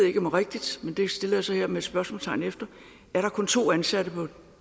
ikke om er rigtigt men det stiller jeg så hermed et spørgsmålstegn ved er der kun to ansatte på